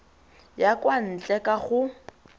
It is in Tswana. ya kwa ntle ka go